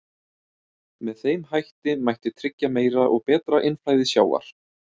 Með þeim hætti mætti tryggja meira og betra innflæði sjávar.